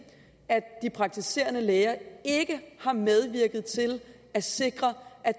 at de praktiserende læger ikke har medvirket til at sikre at